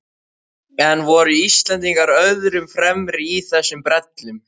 En voru Íslendingar öðrum fremri í þessum brellum?